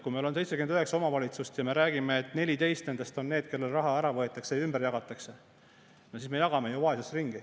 Kui meil on 79 omavalitsust ja me räägime, et 14 nendest on need, kellelt raha ära võetakse ja ümber jagatakse, no siis me jagame vaesust ringi.